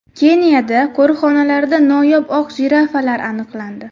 Keniyada qo‘riqxonalarida noyob oq jirafalar aniqlandi .